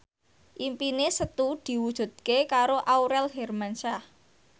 impine Setu diwujudke karo Aurel Hermansyah